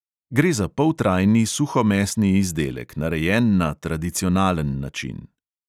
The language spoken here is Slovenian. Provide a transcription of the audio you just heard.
Gre za poltrajni suhomesni izdelek, narejen na tradicionalen način.